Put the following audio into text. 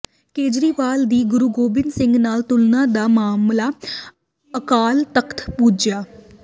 ਕੇਜਰੀਵਾਲ ਦੀ ਗੁਰੂ ਗੋਬਿੰਦ ਸਿੰਘ ਨਾਲ ਤੁਲਨਾ ਦਾ ਮਾਮਲਾ ਅਕਾਲ ਤਖ਼ਤ ਪੁੱਜਿਆ